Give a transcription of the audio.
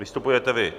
Vystupujete vy.